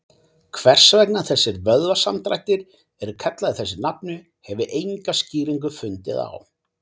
Hvers vegna þessir vöðvasamdrættir eru kallaðir þessu nafni hef ég enga skýringu fundið á.